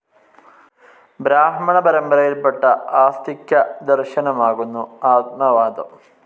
ബ്രാഹ്മണ പരമ്പരയിൽപ്പെട്ട ആസ്തിക്യദർശനമാകുന്നു ആത്മവാദം.